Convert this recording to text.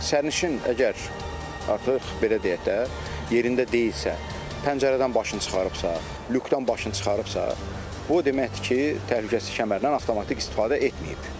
Sərnişin əgər artıq belə deyək də, yerində deyilsə, pəncərədən başını çıxarıbsa, lyukdan başını çıxarıbsa, bu o deməkdir ki, təhlükəsizlik kəmərindən avtomatik istifadə etməyib.